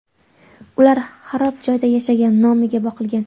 Ular xarob joyda yashagan, nomiga boqilgan.